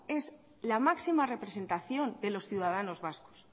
es la máxima representación de los ciudadanos vascos